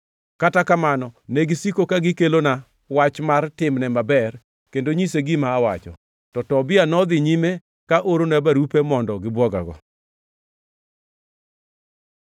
Kata kamano, negisiko ka gikelona wach mar timne maber kendo nyise gima awacho. To Tobia nodhi nyime ka orona barupe mondo gibwogago.